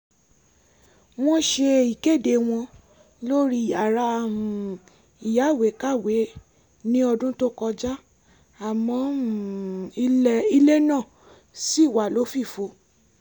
wọ́n ṣe ìkéde wọn lórí yàrá um ìyáwèé-kàwé ní ọdún tó kọjá àmọ́ um ilẹ̀ náà ṣì wà lófìfo